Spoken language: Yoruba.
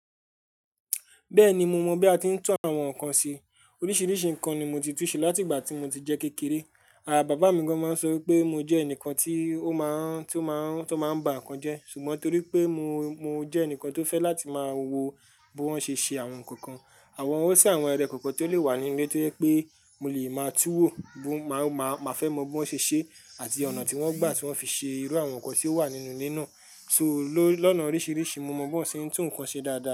Bẹ́ẹ̀ni mo mọ̀ bí a ti ń tún àwọn nǹkan ṣe. Oríṣiríṣi nǹkan ni mo ti tú ṣe láti ìgbà tí mo ti jẹ́ kékeré. Àh bàbá mi gan-an máa ń sọ pé mo jẹ́ ẹnìkan tí ó máa ń, tí ó máa ń, tí ó máa ń ba nǹkan jẹ́. Ṣùgbọ́n torí pé mo, mo jẹ́ ẹnìkan tó fẹ́ láti máa wo bí wọ́n ṣe ń ṣe àwọn nǹkan. Àwọn, ó sì àwọn ẹrẹ̀kọ̀ọ́ kan tó lè wà nílé tó jẹ́ pé mo lè máa túwò bí, máa, máa fẹ́ mọ bí wọ́n ṣe ń ṣe àti ọ̀nà tí wọ́n gbà tí wọ́n fi ṣe irú àwọn nǹkan tí ó wà nínú ilé náà. So ló, lọ́nà oríṣiríṣi mo mọ̀ bí wọ́n ti ń tún ǹkan ṣe dáadáa.